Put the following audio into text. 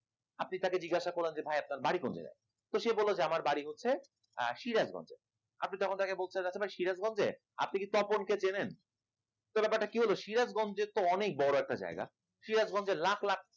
আপনি তাকে জিজ্ঞাসা করলেন যে ভাই আপনার বাড়ি কোন জায়গা তো সে বলল যে আমার বাড়ি হচ্ছে আহ সিরাজ গঞ্জে, আপনি তখন তাকে বলতে যাচ্ছেন সিরাজ গঞ্জে আপনি কি তপন কে চেনেন? তো ব্যাপার টা কি হল সিরাজ গঞ্জে তো অনেক বড়ো একটা জায়গা সিরাজ গঞ্জে লাখ লাখ